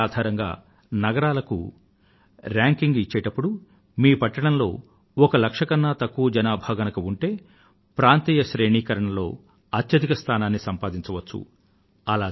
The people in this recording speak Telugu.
ఈ సర్వేక్షణ ఆధారంగా నగరాలకు శ్రేణీకరణ రేంకింగ్ ఇచ్చేటప్పుడు మీ పట్టణంలో ఒక లక్ష కన్నా తక్కువ జనాభా గనుక ఉంటే ప్రాంతీయ శ్రేణీకరణ లో అత్యధిక స్థానాన్ని సంపాదించవచ్చు